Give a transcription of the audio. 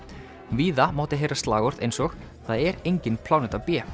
víða mátti heyra slagorð eins og það er engin pláneta b